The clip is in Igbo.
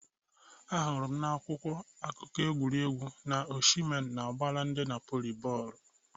Ahụrụ m n'akwụkwọ akụkọ egwuregwu na Oshimen na-agbara ndi Napoli bọọlụ